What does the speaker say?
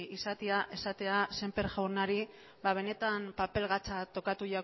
esatea sémper jaunari benetan papel gatza tokatu